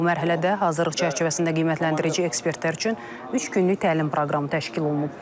Bu mərhələdə hazırlıq çərçivəsində qiymətləndirici ekspertlər üçün üç günlük təlim proqramı təşkil olunub.